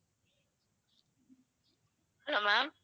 hello ma'am